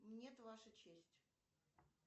нет ваша честь